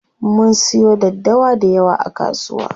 Mun siyo daddawa dayawa a kasuwa.